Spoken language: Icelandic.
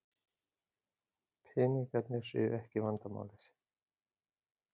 Peningarnir séu ekki vandamálið.